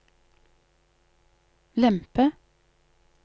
lempe